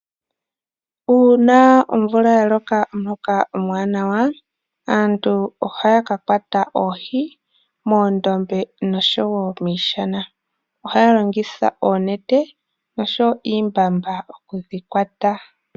Uuna omvula ya loka omuloka omwaanawa, aantu ohaa ka kwata oohi moondombe nosho wo miishana. Ohaya longitha oonete nenge iimbamba oku dhi kwata.